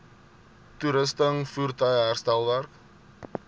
toerusting voertuie herstelwerk